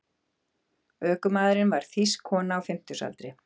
Ökumaðurinn var þýsk kona á fimmtugsaldri